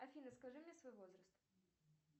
афина скажи мне свой возраст